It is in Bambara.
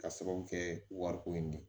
Ka sababu kɛ wariko in de ye